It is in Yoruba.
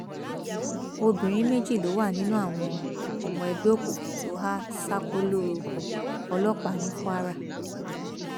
obìnrin méjì ló wà nínú àwọn ọmọ ẹgbẹ òkùnkùn tó há ṣákóló ọlọpàá ní kwara